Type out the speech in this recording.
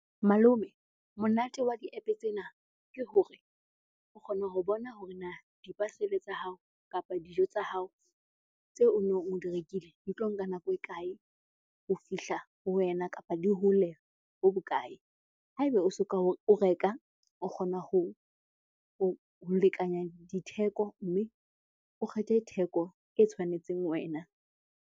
Malome, monate wa di-App tsena ke hore o kgona ho bona hore na di-parcel-e tsa hao kapa dijo tsa hao tseo onong o di rekile di tlo nka nako e kae ho fihla ho wena kapa di hole bo bokae? Haeba o soka o reka, o kgona ho lekanya ditheko mme o kgethe theko e tshwanetseng wena.